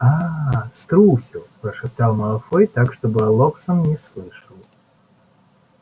аа струсил прошептал малфой так чтобы локсон не слышал